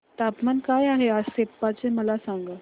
तापमान काय आहे आज सेप्पा चे मला सांगा